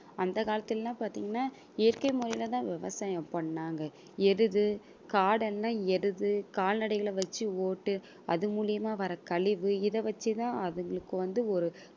அந்த காலத்துல எல்லாம் பாத்தீங்கன்னா இயற்கை முறையில தான் விவசாயம் பண்ணாங்க. எருது காடென்ன எருது கால்நடைகளை வெச்சு ஓட்டு அது மூலியமா வர கழிவு இத வச்சு தான் அதுங்களுக்கு வந்து ஒரு